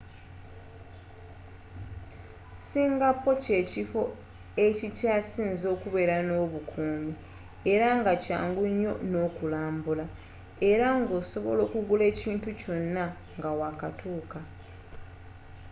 singapore kye kifo ekikyasinze okubere n'obukumi era nga kyangu nnyo n'okulambula era nga osobola okugula ekinti kyona nga wa katuka